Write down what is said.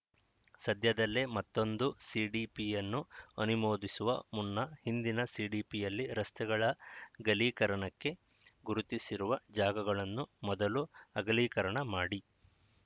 ಸದ್ಯದಲ್ಲೇ ಮತ್ತೊಂದು ಸಿಡಿಪಿಯನ್ನು ಅನಿಮೋದಿಸುವ ಮುನ್ನ ಹಿಂದಿನ ಸಿಡಿಪಿಯಲ್ಲಿ ರಸ್ತೆಗಳ ಗಲೀಕರನಕ್ಕೆ ಗುರುತಿಸಿರುವ ಜಾಗಗಳನ್ನು ಮೊದಲು ಅಗಲೀಕರಣ ಮಾಡಿ